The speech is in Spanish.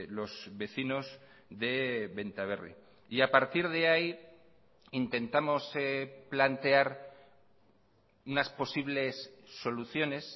los vecinos de benta berri y a partir de ahí intentamos plantear unas posibles soluciones